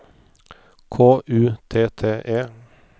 K U T T E